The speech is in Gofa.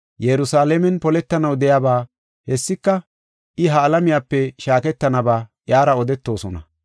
Yerusalaamen poletanaw de7iyaba, hessika, I ha alamiyape shaaketanaba iyara odetoosona.